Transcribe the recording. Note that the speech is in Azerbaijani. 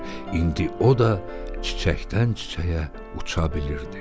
İndi o da çiçəkdən çiçəyə uça bilirdi.